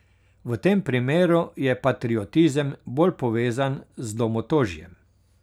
V tem primeru je patriotizem bolj povezan z domotožjem.